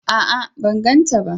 A'a! Ban gan ta ba.